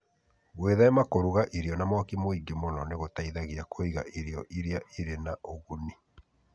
Gwĩthema kũruga irio na mwaki mũingĩ mũno nĩ gũteithagia kũiga irio iria irĩ na ũguni.